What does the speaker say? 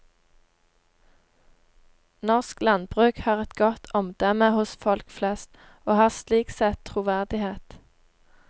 Norsk landbruk har et godt omdømme hos folk flest, og har slik sett troverdighet.